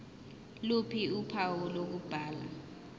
ph uphawu lokubhala